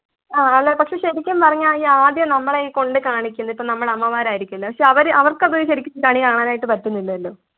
ആഹ് അല്ല പക്ഷെ ശെരിക്കും പറഞ്ഞാൽ ഈ ആദ്യം നമ്മളെ ഈ കൊണ്ട് കാണിക്കുന്നത് ഇപ്പോ നമ്മടെ അമ്മമാരായിരിക്കുമല്ലോ പക്ഷെ അവര്~ അവർക്കത് ശരിക്ക് കണി കാണാനായിട്ട് പറ്റുന്നില്ലെല്ലോ.